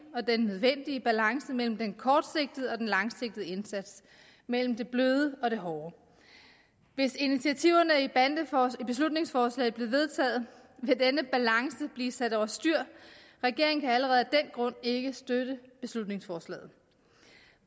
og den nødvendige balance mellem den kortsigtede og den langsigtede indsats mellem det bløde og det hårde hvis initiativerne i beslutningsforslaget blev vedtaget ville denne balance blive sat over styr regeringen kan allerede af den grund ikke støtte beslutningsforslaget